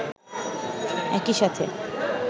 একই সাথে